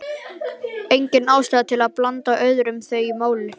Engin ástæða til að blanda öðrum í þau mál.